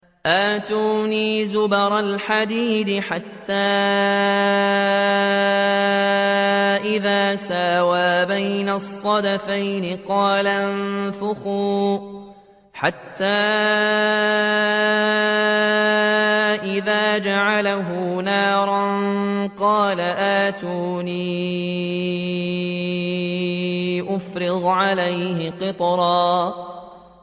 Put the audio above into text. آتُونِي زُبَرَ الْحَدِيدِ ۖ حَتَّىٰ إِذَا سَاوَىٰ بَيْنَ الصَّدَفَيْنِ قَالَ انفُخُوا ۖ حَتَّىٰ إِذَا جَعَلَهُ نَارًا قَالَ آتُونِي أُفْرِغْ عَلَيْهِ قِطْرًا